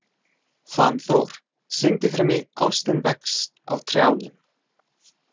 Fannþór, syngdu fyrir mig „Ástin vex á trjánum“.